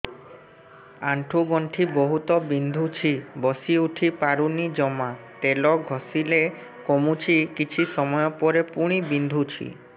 ଆଣ୍ଠୁଗଣ୍ଠି ବହୁତ ବିନ୍ଧୁଛି ବସିଉଠି ପାରୁନି ଜମା ତେଲ ଘଷିଲେ କମୁଛି କିଛି ସମୟ ପରେ ପୁଣି ବିନ୍ଧୁଛି